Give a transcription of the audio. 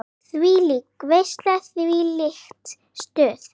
Þvílík veisla, þvílíkt stuð.